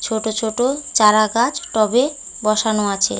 ছোট ছোট চারা গাছ টবে বসানো আছে।